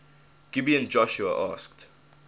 gibeon joshua asked